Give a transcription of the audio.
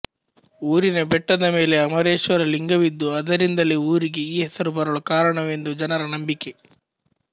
ಊರಿನ ಬೆಟ್ಟದ ಮೇಲೆ ಅಮರೇಶ್ವರಲಿಂಗವಿದ್ದು ಅದರಿಂದಲೇ ಊರಿಗೆ ಈ ಹೆಸರು ಬರಲು ಕಾರಣವೆಂದು ಜನರ ನಂಬಿಕೆ